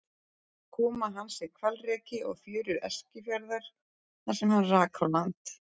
Koma hans er hvalreki á fjörur Eskifjarðar þar sem hann rak á land.